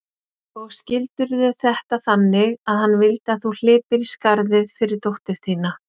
Og skildirðu þetta þannig að hann vildi að þú hlypir í skarðið fyrir dóttur þína?